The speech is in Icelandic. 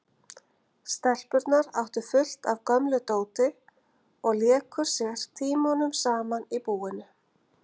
Stelpurnar áttu fullt af gömlu dóti og léku sér tímunum saman í búinu.